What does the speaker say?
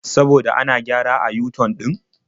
Saboda ana gyara a yu-tan ɗin.